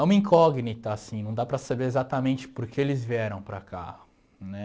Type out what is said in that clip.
É uma incógnita, assim, não dá para saber exatamente por que eles vieram para cá, né?